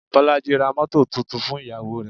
Bolaji ra mọ́tọ̀ tuntun fún ìyàwó rè.